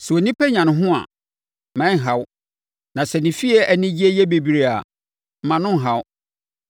Sɛ onipa nya ne ho a, mma ɛnha wo; na sɛ ne fie anigyeɛ yɛ bebree a, mma no nha wo;